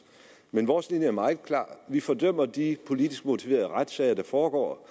men vores linje er meget klar vi fordømmer de politisk motiverede retssager der foregår